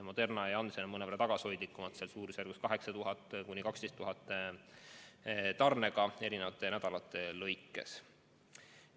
Moderna ja Janssen on mõnevõrra tagasihoidlikumad, suurusjärgus 8000 – 12 000 doosi eri nädalatel.